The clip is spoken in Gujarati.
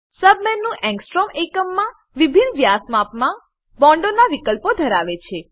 સબ મેનુ એંગસ્ટ્રોમ આંગસ્ટ્રોમ એકમમાં વિભિન્ન વ્યાસ માપમાં બોન્ડોનાં વિકલ્પો ધરાવે છે